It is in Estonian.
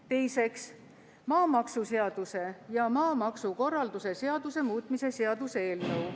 Teiseks, maamaksuseaduse ja maksukorralduse seaduse muutmise seaduse eelnõu.